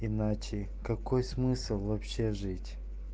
иначе какой смысл вообще жить